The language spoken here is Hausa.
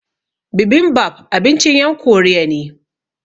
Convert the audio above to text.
Bibimbap abincin yan Koriya ne